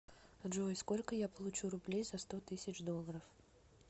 джой сколько я получу рублей за сто тысяч долларов